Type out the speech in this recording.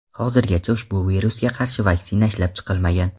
Hozirgacha ushbu virusga qarshi vaksina ishlab chiqilmagan.